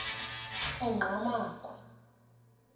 engqamakhwe